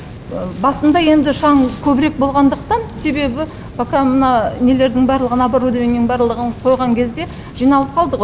басында енді шаң көбірек болғандықтан себебі пока мына нелердің барлығын оборудованиялардың барлығын қойған кезде жиналып қалды ғой